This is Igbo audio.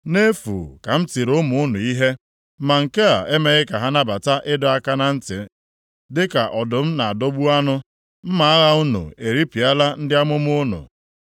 “Nʼefu ka m tiri ụmụ unu ihe; ma nke a emeghị ka ha nabata ịdọ aka na ntị. Dịka ọdụm na-adọgbu anụ, mma agha unu eripịala ndị amụma unu.